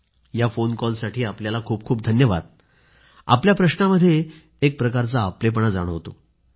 या फोन कॉलसाठी आपल्याला खूप खूप धन्यवाद आपल्या प्रश्नामध्ये एक प्रकारचा आपलेपणा जाणवतो